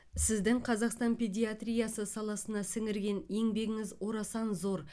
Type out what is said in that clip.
сіздің қазақстан педиатриясы саласына сіңірген еңбегіңіз орасан зор